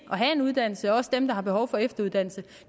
uddannelse og dem som har behov for efteruddannelse